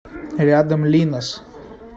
рядом линос